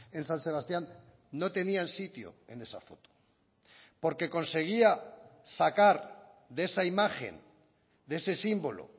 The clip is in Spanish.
en san sebastián no tenían sitio en esa foto porque conseguía sacar de esa imagen de ese símbolo